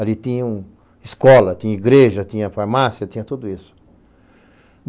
Ali tinha escola, tinha igreja, tinha farmácia, tinha tudo isso.